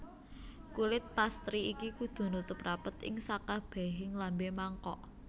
Kulit pastry iki kudu nutup rapet ing sakabehing lambe mangkok